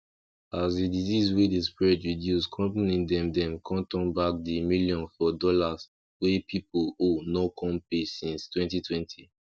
as di disease wey dey spread reduce company dem dem con turn back di million for dollas wey people owe no con pay since twenty twenty